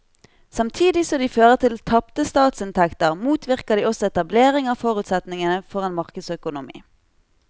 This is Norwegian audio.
Samtidig som de fører til tapte statsinntekter motvirker de også etablering av forutsetningene for en markedsøkonomi.